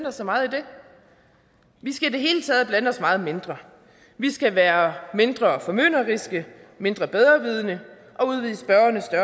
os så meget i det vi skal i det hele taget blande os meget mindre vi skal være mindre formynderiske mindre bedrevidende